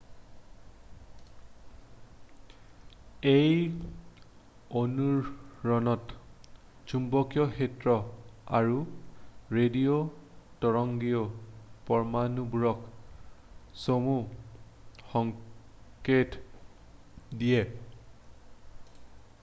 এই অনুৰণনত চুম্বকীয় ক্ষেত্ৰ আৰু ৰেডিঅ' তৰংগই পৰমাণুবোৰক চমু সংকেত দিয়ে